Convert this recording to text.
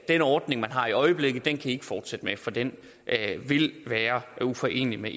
den ordning man har i øjeblikket kan i ikke fortsætte med for den vil være uforenelig med